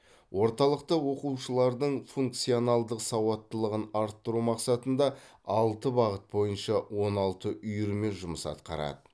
орталықта оқушылардың функционалдық сауаттылығын арттыру мақсатында алты бағыт бойынша он алты үйірме жұмыс атқарады